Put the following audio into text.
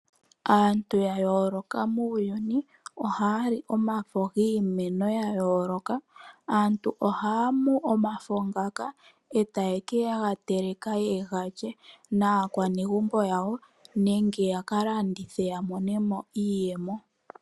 Aantu ya yooloka muuyuni ohaya li omafo giimeno ya yooloka aantu ohaya mu omafo ngoka e taye ga teleke ye ga lye naakwanegumbo yawo nenge ya ka landithe ya monemo iiyemo.